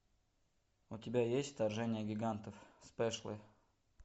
у тебя есть вторжение гигантов спешлы